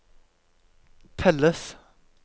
telles